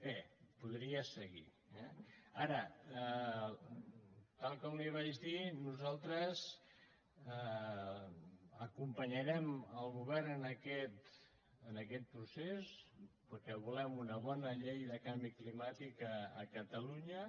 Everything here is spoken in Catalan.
bé podria seguir eh ara tal com li vaig dir nosaltres acompanyarem el govern en aquest procés perquè volem una bona llei de canvi climàtic a catalunya